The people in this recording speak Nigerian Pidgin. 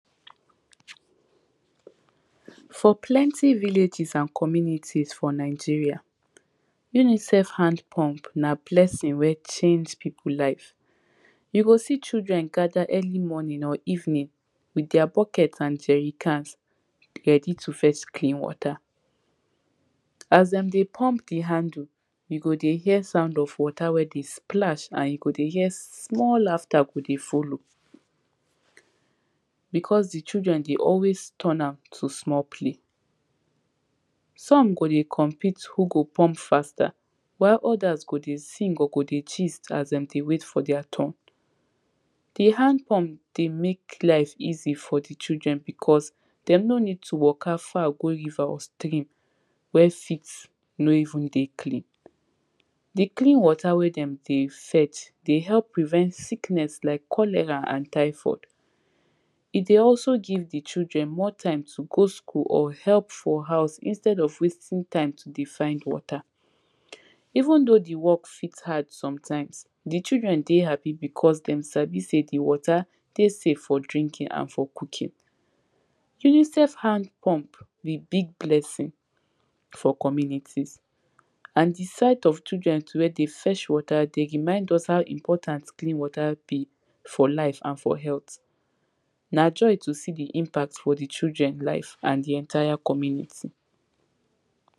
for plenty villages and communities for nigeria UNICEF hand pump na blessing wey change pipu life you go see children gather early morning or evening with deir buckets and jerry cans dey ready to fetch clean water as dem dey pump the handle you go dey hear sound of water wey dey splash, and you go dey hear small laughter go dey follow because the children dey always turn am to small play some go dey compete who go pump faster while, others go dey sing, or go dey gist as dem dey wait for their turn the hand pump dey mek life easy for the children because dem no need to waka far go river or stream wey fit no even dey clean the clean water wey dem dey fetch dey help prevent sickness like cholera and typhoid he dey also give the children more time to go school or help for house, instead of wasting time to dey find water even though the work fit hard sometimes the children dey happy, because dem sabi sey the water dey safe for drinking and for coooking UNICEF hand pump be big blessing for commmunities and the sight of children too wey dey fetch water, dey remind us how important, clean water be for life and for healh na joy to see the impact for the children life and the entire community